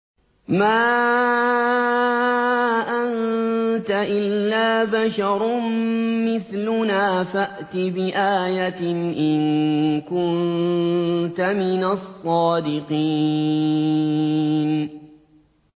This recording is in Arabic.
مَا أَنتَ إِلَّا بَشَرٌ مِّثْلُنَا فَأْتِ بِآيَةٍ إِن كُنتَ مِنَ الصَّادِقِينَ